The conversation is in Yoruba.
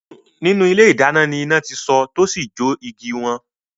Nínú ilé idáná ni iná ti so tá ósì jó iée igi won.